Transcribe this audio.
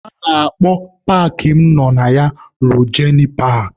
A na-akpọ paakị mụ nọ na ya Rojenị paakị.